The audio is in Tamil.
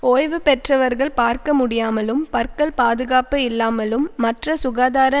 ஓய்வு பெற்றவர்கள் பார்க்க முடியாமலும் பற்கள் பாதுகாப்பு இல்லாமலும் மற்ற சுகாதார